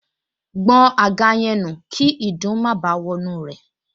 Gbọn àga yẹn nù kí ìdun má báà wọnú rẹ̀